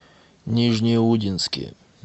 нижнеудинске